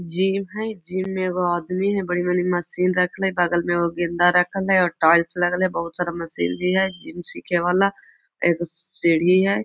Gym है gym में एगो आदमी है बड़ी-बड़ी वाली मशीन रखल है बगल में गेंदा रखल है और टाइल्स लागल है बहुत सारा मशीन भी हय जिम सीखे वाला एगो सीढ़ी है।